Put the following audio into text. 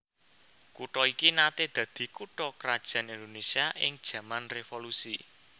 Kutha iki naté dadi kutha krajan Indonésia ing jaman revolusi